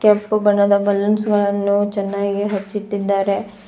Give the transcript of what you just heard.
ಕೆಂಪು ಬಣ್ಣದ ಬಲೂನ್ಸ್ ಗಳನ್ನು ಚೆನ್ನಾಗಿ ಹಚ್ಚಿಟ್ಟಿದ್ದಾರೆ.